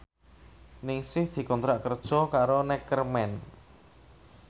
Ningsih dikontrak kerja karo Neckerman